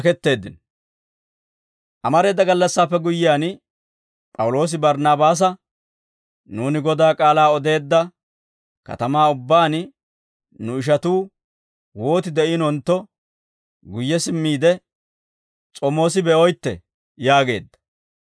Amareeda gallassaappe guyyiyaan, P'awuloosi Barnaabaasa, «Nuuni Godaa k'aalaa odeedda katamaa ubbaan nu ishatuu wooti de'iinontto, guyye simmiide, s'omoos be'oytte» yaageedda.